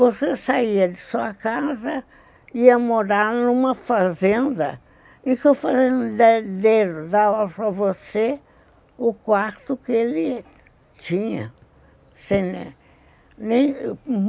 Você saía de sua casa e ia morar numa fazenda e que o fazendeiro dava para você o quarto que ele tinha.